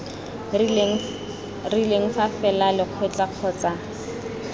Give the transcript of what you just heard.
rileng fa fela lekgotla kgotsa